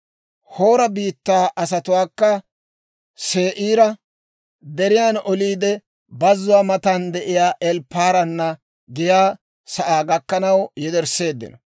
Hoora biittaa asatuwaakka Se'iira Deriyaan oliide, bazzuwaa matan de'iyaa Elpparaana giyaa sa'aa gakkanaw yedersseeddino.